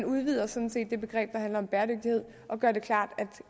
udvider sådan set det begreb der handler om bæredygtighed og gør det klart at